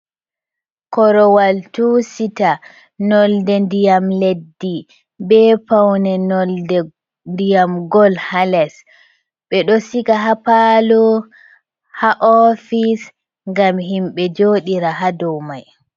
Korowal tusita nolde ndiyam leddi, be paune nolde ndiyam gol haa les. Ɓe ɗo siga haa paalo, haa ofis, ngam himɓe jooɗira haa domai.